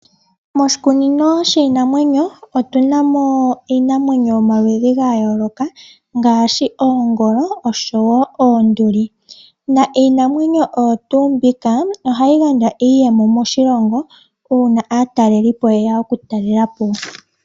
Moshikunino shiinamwenyo otuna mo iinamwenyo yomaludhi gayooloka ngashi oongolo oshowo oonduli, naa iinamwenyo oyo tu mbika ohayi gandja iiyemo moshilongo uuna aatalelipo yeya oku talelapo.